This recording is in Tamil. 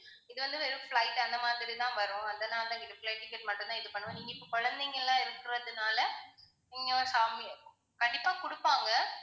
இது வந்து வெறும் flight அந்த மாதிரி தான் வரும். அதனால இது flight ticket மட்டும் தான் இது பண்ணுவோம். நீங்க இப்ப குழந்தைங்கல்லாம் இருக்குறதனால நீங்க family கண்டிப்பா குடுப்பாங்க